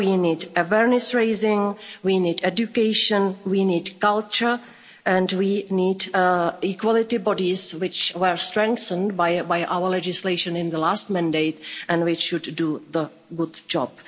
We need awareness raising, we need education, we need culture and we need equality bodies, which were strengthened by our legislation in the last mandate and which should do the good job.